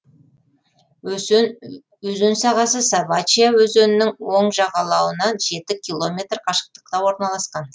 өзен сағасы собачья өзенінің оң жағалауынан километр қашықтықта орналасқан